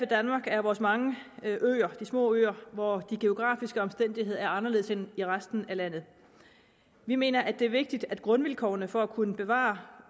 danmark er vores mange øer de små øer hvor de geografiske omstændigheder er anderledes end i resten af landet vi mener at det er vigtigt at grundvilkårene for at kunne bevare